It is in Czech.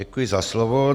Děkuji za slovo.